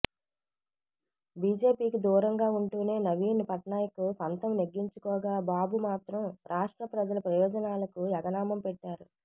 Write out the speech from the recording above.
బీజేపీకి దూరంగా ఉంటూనే నవీన్ పట్నాయక్ పంతం నెగ్గించుకోగా బాబు మాత్రం రాష్ట్ర ప్రజల ప్రయోజనాలకు ఎగనామం పెట్టారు